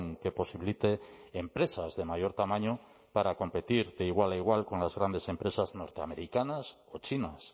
que posibilite empresas de mayor tamaño para competir de igual a igual con las grandes empresas norteamericanas o chinas